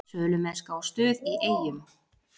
Sölumennska og stuð í Eyjum